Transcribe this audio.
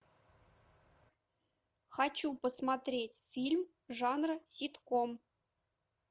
хочу посмотреть фильм жанра ситком